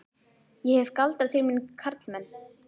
Ég hef galdrað til mín karlmenn.